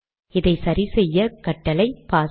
இதை சரி செய்ய கட்டளை பாஸ்